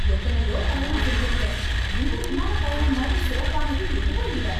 எத்தனையோ பயணம் செஞ்சிருக்கேன். இந்த விமானப் பயணம் மாதிரி சிறப்பானது எதுவும் இல்ல.